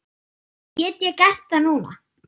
Get ég gert það núna?